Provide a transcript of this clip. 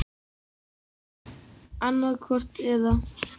Annað hvort eða.